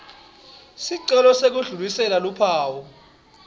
sicelo sekudlulisela luphawu